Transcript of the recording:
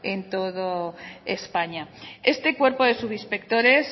en todo españa este cuerpo de subinspectores